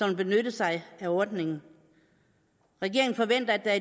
vil benytte sig af ordningen regeringen forventer at der